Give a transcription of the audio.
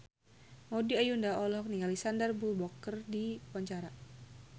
Maudy Ayunda olohok ningali Sandar Bullock keur diwawancara